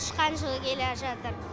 тышқан жылы келе жатыр